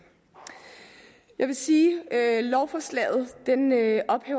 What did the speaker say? jeg vil sige at lovforslaget